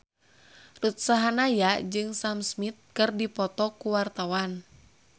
Ruth Sahanaya jeung Sam Smith keur dipoto ku wartawan